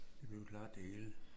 Det blev klaret det hele